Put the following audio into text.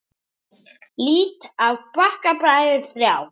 Lít á Bakka bræður þrjá.